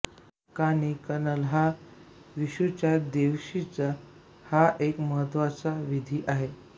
कानि कनल हा विशूच्या दिवशीचा हा एक महत्त्वाचा विधी आहे